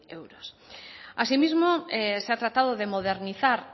euros asimismo se ha tratado de modernizar